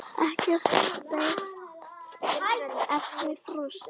Ekkert steypt, efnið frosið.